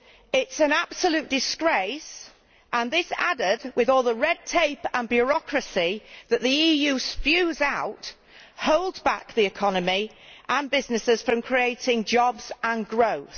It is as an absolute disgrace, and this, added to all the red tape and bureaucracy that the EU spews out, holds back the economy and businesses from creating jobs and growth.